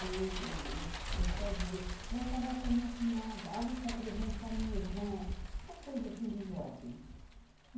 Aí o os pessoal dizia, você vai casar com a minha cunhada, eu vou te apresentar minha irmã, essa coisa assim de jovem.